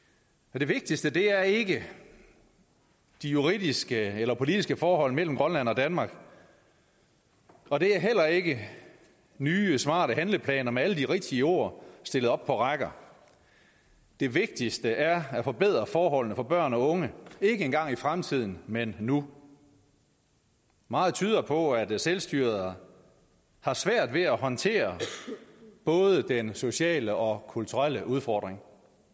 det vigtigste er ikke de juridiske eller politiske forhold mellem grønland og danmark og det er heller ikke nye smarte handleplaner med alle de rigtige ord stillet op på rækker det vigtigste er at forbedre forholdene for børn og unge ikke engang i fremtiden men nu meget tyder på at selvstyret har svært ved at håndtere både den sociale og kulturelle udfordring